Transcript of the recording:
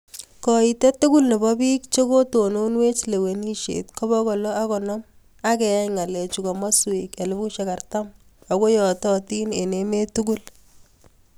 Kaitet tugul nepoo piik chepkotononwech lewenisiet ko pokol loo ak konom ageyai ng'alechuu komasweek elefusiek artam Ako yatatin eng emeet tugul